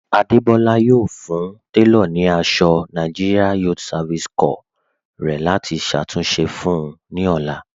Adébọ́lá yọ̀ọ́ fún tẹlọ̀ ní àṣọ NYSC rẹ̀ láti ṣàtúnṣe fún un ní ọlá.